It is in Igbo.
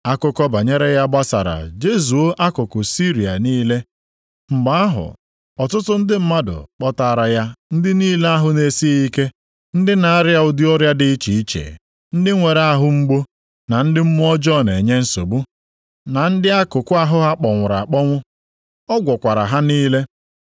Akụkọ banyere ya gbasara jezuo akụkụ Siria niile. Mgbe ahụ ọtụtụ ndị mmadụ kpọtaara ya ndị niile ahụ na-esighị ike, ndị na-arịa ụdị ọrịa dị iche iche, ndị nwere ahụ mgbu, na ndị mmụọ ọjọọ na-esogbu, na ndị akwụkwụ, na ndị akụkụ ahụ ha kpọnwụrụ akpọnwụ. Ọ gwọkwara ha niile.